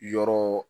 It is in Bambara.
Yɔrɔ